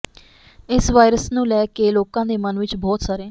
ਇਸ ਵਾਇਰਸ ਨੂੰ ਲੈ ਕੇ ਲੋਕਾਂ ਦੇ ਮਨ ਵਿਚ ਬਹੁਤ ਸਾਰੇ